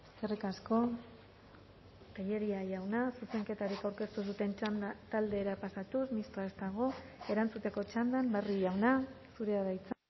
eskerrik asko tellería jauna zuzenketarik aurkeztu ez duten taldera pasatuz mistoa ez dago erantzuteko txandan barrio jauna zurea da hitza